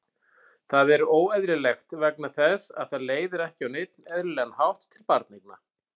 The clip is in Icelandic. Það er óeðlilegt vegna þess að það leiðir ekki á neinn eðlilegan hátt til barneigna.